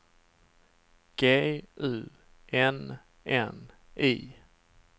G U N N I